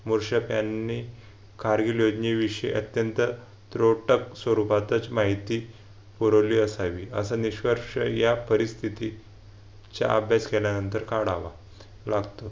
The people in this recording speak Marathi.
मुरशक यांनी कारगिल योजनेविषयी अत्यंत रोटक स्वरूपातच माहिती पुरवली असावी असा निष्कर्ष या परिस्थिती चा अभ्यास केल्यानंतर काढावा लागतो.